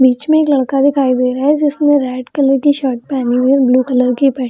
बीच मे एक लड़का दिखाई दे रहा है जिसने रेड कलर की शर्ट पहनी हुई है और ब्लू कलर की पेंट --